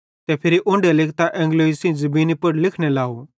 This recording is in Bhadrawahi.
ते फिरी उन्ढे लिकतां एंगलोई सेइं ज़मीनी पुड़ लिखने लव